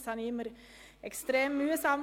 Dies empfand ich stets als sehr mühsam.